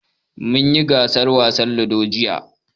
Mun yi gasar wasan Ludo, jiya.